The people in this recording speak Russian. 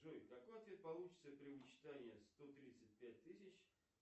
джой какой ответ получится при вычитании сто тридцать пять тысяч